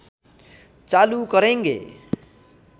चालु करेँगे